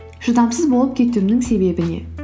шыдамсыз болып кетуімнің себебі не